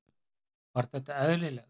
Var þetta eðlilegt?